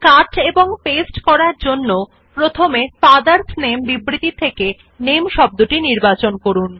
কাট এবং পেস্ট করার জন্য প্রথমে ফাদারস নামে বিবৃতি থেকে NAMEশব্দটি নির্বাচন করুন